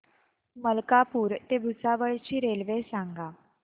मलकापूर ते भुसावळ ची रेल्वे सांगा